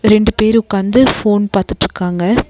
ரெண்டு பேரு உக்காந்து ஃபோன் பாத்துட்ருக்காங்க.